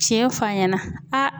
Tiɲɛ fɔ a ɲɛna a